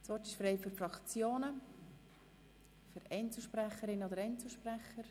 Das Wort ist frei für die Fraktionen oder für Einzelsprecherinnen und Einzelsprecher.